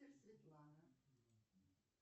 светлана